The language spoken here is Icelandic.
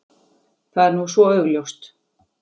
Það er nú svo augljóst.